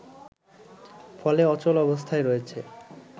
ফলে অচল অবস্থায় রয়েছে